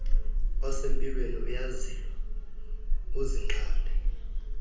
osempilweni uyazilwa uzinqande